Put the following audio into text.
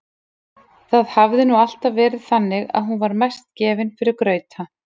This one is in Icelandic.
Það hafði nú alltaf verið þannig að hún var mest gefin fyrir grauta.